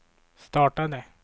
startade